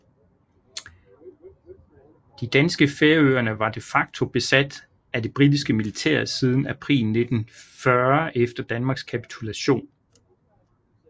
De danske Færøerne var de facto besat af det britiske militær siden april 1940 efter Danmarks kapitulation